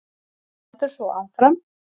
Hann heldur svo áfram